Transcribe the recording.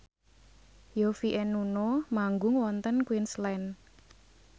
Yovie and Nuno manggung wonten Queensland